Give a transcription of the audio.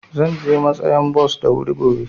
Zan je matsayan bos da wuri gobe.